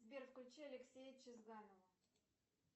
сбер включи алексея чезганова